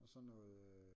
Og så noget øh